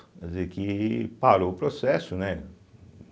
Quer dizer que parou o processo, né?